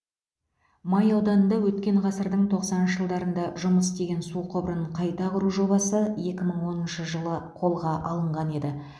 май ауданында өткен ғасырдың тоқсаныншы жылдарында жұмыс істеген су құбырын қайта құру жобасы екі мың оныншы жылы қолға алынған еді